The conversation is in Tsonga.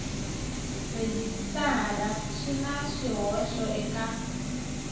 rhejisitara swi na swihoxo eka